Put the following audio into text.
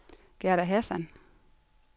Gerda Hassan